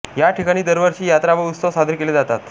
या ठिकाणी दरवर्षी यात्रा व उस्तव साजरे केले जातात